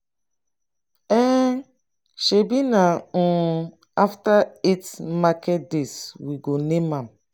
um shebi na um after eight market days we go name am.